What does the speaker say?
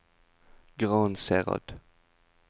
Gransherad